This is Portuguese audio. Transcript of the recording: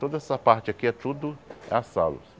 Toda essa parte aqui é tudo as salas.